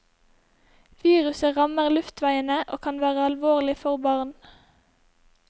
Viruset rammer luftveiene og kan være alvorlig for barn.